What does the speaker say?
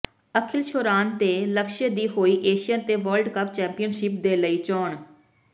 ਅਖਿਲ ਸ਼ੌਰਾਨ ਤੇ ਲਕਸ਼ਯ ਦੀ ਹੋਈ ਏਸ਼ੀਅਨ ਤੇ ਵਰਲਡ ਚੈਪੀਅਨਸ਼ਿਪ ਦੇ ਲਈ ਚੋਣ